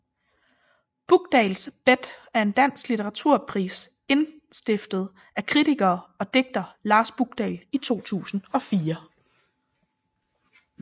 Bukdahls Bet er en dansk litteraturpris indstiftet af kritiker og digter Lars Bukdahl i 2004